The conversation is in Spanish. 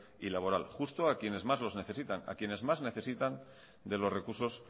y laboral justo a quienes más lo necesitan a quienes más necesitan de los recursos